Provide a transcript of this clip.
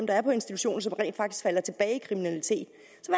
er på institution som rent faktisk falder tilbage i kriminalitet